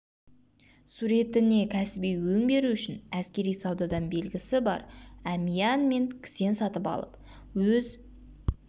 суретіне кәсіби өң беру үшін әскери саудадан белгісі бар әмиян мен кісен сатып алып өз